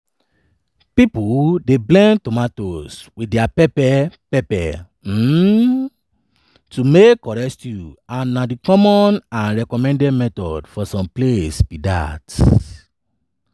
pipo dey blend tomatoes wit dia pepper pepper um to make correct stew and na di common and recommended method for some place be dat.